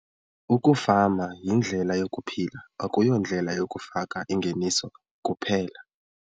Ukufama yindlela yokuphila akuyondlela yokufaka ingeniso kuphela.